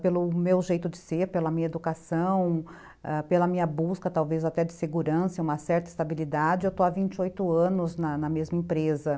pelo meu jeito de ser, pela minha educação, ãh, pela minha busca talvez até de segurança, uma certa estabilidade, eu estou há vinte e oito anos na na mesma empresa.